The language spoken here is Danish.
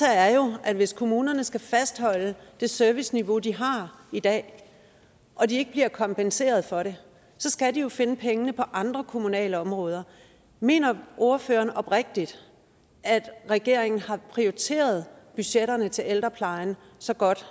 er jo at hvis kommunerne skal fastholde det serviceniveau de har i dag og de ikke bliver kompenseret for det skal de finde pengene på andre kommunale områder mener ordføreren oprigtigt at regeringen har prioriteret budgetterne til ældreplejen så godt